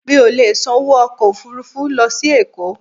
Mi ò lè san owó ọkọ̀ Òfurufú lọ sí Èkó.